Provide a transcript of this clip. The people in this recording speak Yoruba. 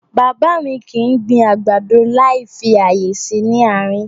Bàbá mi kì í gbin àgbàdo láì fi ààyè sí nị àárín.